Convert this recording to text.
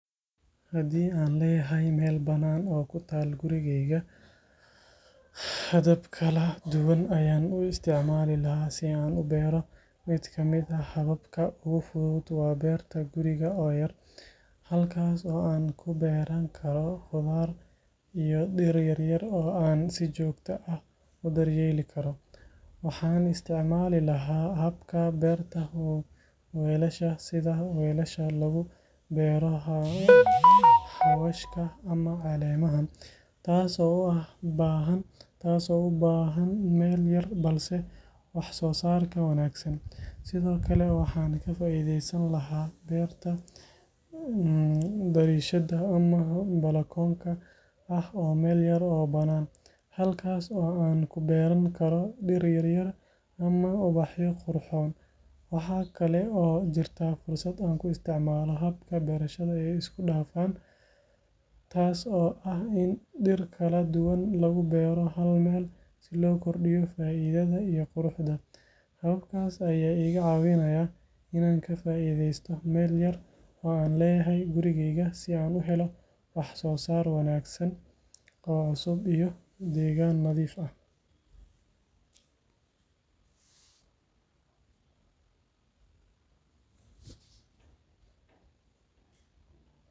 Haddii aan leeyahay meel bannaan oo ku taal gurigayga, habab kala duwan ayaan u isticmaali lahaa si aan u beero. Mid ka mid ah hababka ugu fudud waa beerta guriga oo yar, halkaas oo aan ku beeran karo khudaar iyo dhir yaryar oo aan si joogto ah u daryeeli karo. Waxaan isticmaali lahaa habka beerta weelasha, sida weelasha lagu beero xawaashka ama caleemaha, taas oo u baahan meel yar balse wax-soosaarkeeda wanaagsan. Sidoo kale, waxaan ka faa’iidaysan lahaa beerta dariishadda ama balakoonka oo ah meel yar oo bannaan, halkaas oo aan ku beeran karo dhir yaryar ama ubaxyo qurxoon. Waxaa kale oo jirta fursad aan ku isticmaalo habka beerashada ee isku dhafan, taas oo ah in dhir kala duwan lagu beero hal meel si loo kordhiyo faa’iidada iyo quruxda. Hababkaas ayaa iga caawinaya inaan ka faa’iidaysto meel yar oo aan leeyahay gurigayga si aan u helo wax-soosaar wanaagsan oo cusub iyo deegaan nadiif ah.